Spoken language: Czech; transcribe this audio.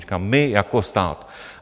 Říkám my jako stát.